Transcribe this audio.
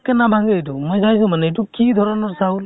পতকে নাভাঙে এইটো । মই চাইছো মানে, এইটো কি ধৰণৰ চাউল ?